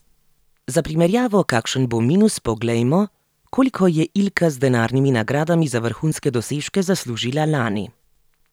Za primerjavo, kakšen bo minus, poglejmo, koliko je Ilka z denarnimi nagradami za vrhunske dosežke zaslužila lani.